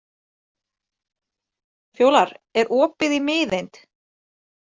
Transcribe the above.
Fjólar, er opið í Miðeind?